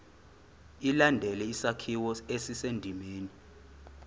ilandele isakhiwo esisendimeni